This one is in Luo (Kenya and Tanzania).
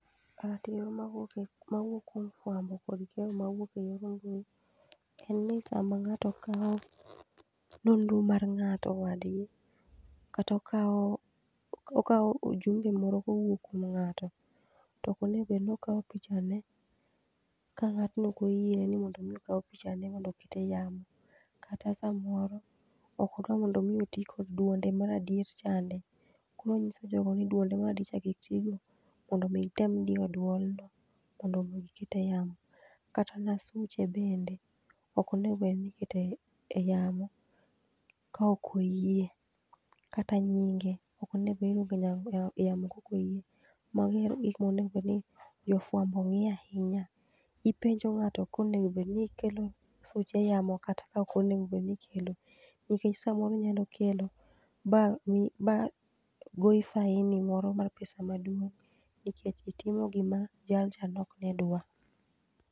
Ratiro mawuok e mawuok kwom fwambo kod keyo mwuok e yor en ni sama ng'ato kao nonro mar ng'ato wadgi, kata okao okao ujumbe moro kowuok kwom ng'ato, to okonego bedni okao pichane ka ng'atno okoyie mondo mi okau pichane mondo oket e yamo. Kata samoro okodwa mondo mi otii kod dwonde mar adier chande. Koro onyiso jogo ni dwonde mar adier cha kik tigo mondo mii gitem dio dwol no, mondo mi giket e yamo. Kata na suche bende okonego bedni ikete yamo kaokoyie, kata nyinge okonego bedni kaokoyie. Magi e gik monego bedni jofwambo ng'io ahinya. Ipenjo ng'ato konego bedni ikelo suche e yamo kata ka okonego bedni ikelo, nikech samoro inyalo kelo ba mi ba goi faini moro mar pesa maduong' nikech itimo gimoro ma jal cha nok ne dwa.